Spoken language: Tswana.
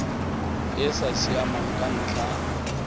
e sa siamang ka ntlha